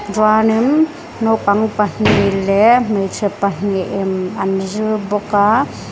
chuanin naupang pahnih leh hmeichhe pahnihin an zir bawk a.